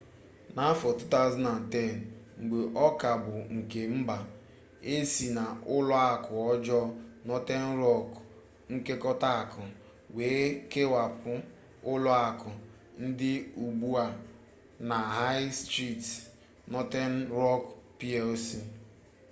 n’afọ 2010 mgbe ọ ka bụ nke mba e si na ụlọ akụ ọjọọ northern rock nkekọta akụ wee kewapụ ụlọ akụ dị ugbu a na high street northern rock plc